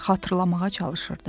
Xatırlamağa çalışırdı.